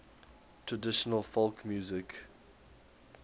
traditional folk music